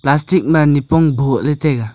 plastic ma nipong boh ley taiga.